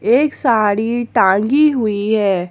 एक साड़ी टांगी हुई हैं।